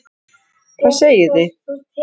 Hvað segið þið?